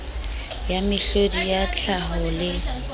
ya mehlodi ya tlhaho le